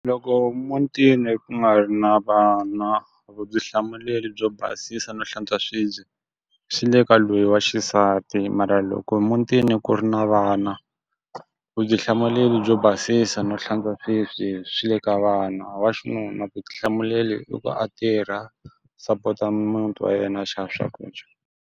Loko mutini ku nga ri na vana vutihlamuleri byo basisa no hlantswa swibye, swi le ka loyi wa xisati mara loko mutini ku ri na vana vutihlamuleri byo basisa no hlantswa swibye swi le ka vana. Wa xinuna vutihlamuleri i ku a tirha, support-a mutini wa yena, a xava swakudya.